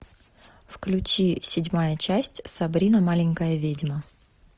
включи седьмая часть сабрина маленькая ведьма